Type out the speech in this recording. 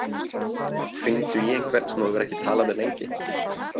Hringdu í einhvern sem þú hefur ekki talað við lengi.